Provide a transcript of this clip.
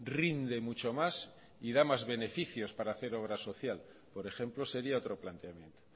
rinde mucho más y da más beneficios para hacer obra social por ejemplo sería otro planteamiento